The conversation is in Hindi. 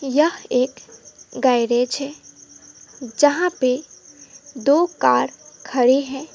यह एक गैरेज है जहां पे दो कार खड़े हैं।